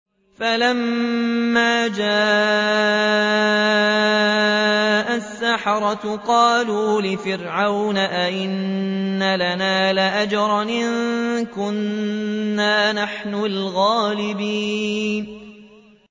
فَلَمَّا جَاءَ السَّحَرَةُ قَالُوا لِفِرْعَوْنَ أَئِنَّ لَنَا لَأَجْرًا إِن كُنَّا نَحْنُ الْغَالِبِينَ